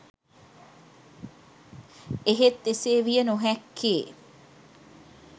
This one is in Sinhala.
එහෙත් එසේ විය නොහැක්කේ